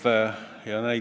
Aitäh, härra juhataja!